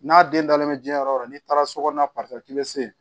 N'a den dalen bɛ jiyɛn yɔrɔ o yɔrɔ n'i taara sokɔnɔna k'i bɛ se